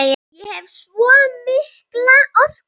Ég hef svo mikla orku.